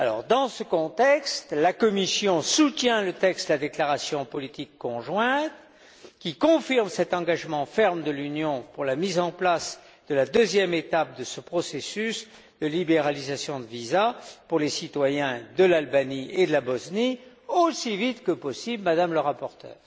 Dans ce contexte, la Commission soutient le texte de la déclaration politique conjointe, qui confirme cet engagement ferme de l'Union pour la mise en place de la deuxième étape de ce processus de libéralisation de visas pour les citoyens de l'Albanie et de la Bosnie aussi vite que possible, Madame la rapporteure.